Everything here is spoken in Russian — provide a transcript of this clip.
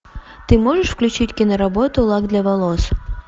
ты можешь включить киноработу лак для волос